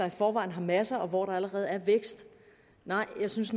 i forvejen har masser og hvor der allerede er vækst nej jeg synes